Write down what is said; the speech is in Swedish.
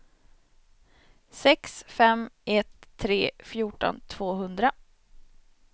sex fem ett tre fjorton tvåhundra